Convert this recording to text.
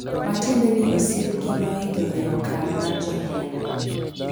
matiende ni osiepgi noidho e okang' mar johera.